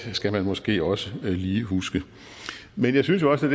skal man måske også lige huske men jeg synes jo også